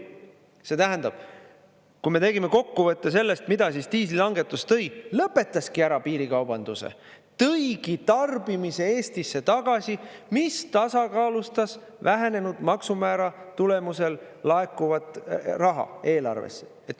See tähendab, kui me tegime kokkuvõtte sellest, mida diislilangetus tõi, lõpetaski ära piirikaubanduse, tõigi tarbimise Eestisse tagasi, mis tasakaalustas vähenenud maksumäära tulemusel laekuvat raha eelarvesse.